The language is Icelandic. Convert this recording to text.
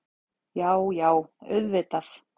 Já, já auðvitað.